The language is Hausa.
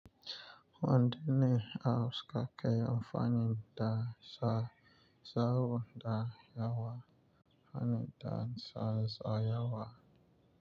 Wanda ne a faskar kai amfanin da sa, sahu da yawa, amfanin da sa sa yawa.